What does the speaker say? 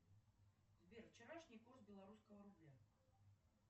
сбер вчерашний курс белорусского рубля